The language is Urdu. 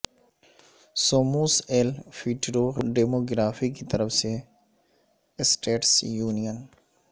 سوموس ایل فیوٹورو ڈیموگرافی کی طرف سے اسٹیٹس یونین